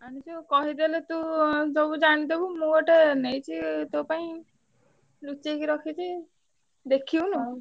ଆଣିଚି କହିଦେଲେ ତୁ ସବୁ ଜାଣିଦବୁ। ମୁଁ ଗୋଟେ ନେଇଚି ତୋ ପାଇଁ ନୁଚେଇକି ରଖିଛି। ଦେଖିବୁନୁ ।